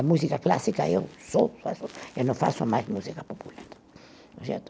Música clássica eu sou, eu não faço mais música popular.